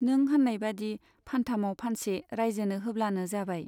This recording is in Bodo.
नों होन्नायबादि फानथामाव फानसे राइजोनो होब्लानो जाबाय।